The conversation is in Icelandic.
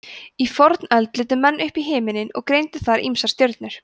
í fornöld litu menn upp í himinninn og greindu þar ýmsar stjörnur